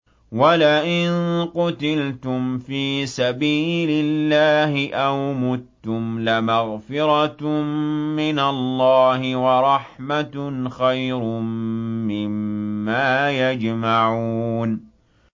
وَلَئِن قُتِلْتُمْ فِي سَبِيلِ اللَّهِ أَوْ مُتُّمْ لَمَغْفِرَةٌ مِّنَ اللَّهِ وَرَحْمَةٌ خَيْرٌ مِّمَّا يَجْمَعُونَ